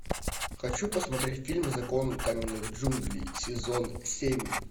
хочу посмотреть фильм закон каменных джунглей сезон семь